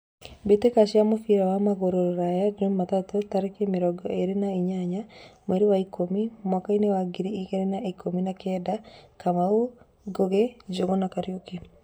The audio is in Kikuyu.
Mbĩtĩka cia mũbira wa magũrũ Ruraya Jumatatu tarĩki mĩrongo ĩrĩ na inyanya mweri wa ikũmi mwakainĩ wa ngiri igĩrĩ na ikũmi na kenda: Kamau, Ngugi, Njuguna, Kariuki.